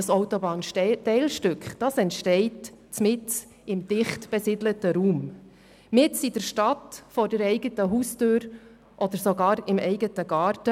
das Autobahnteilstück entsteht mitten im dicht besiedelten Raum, mitten in der Stadt vor der eigenen Haustür oder sogar im eigenen Garten.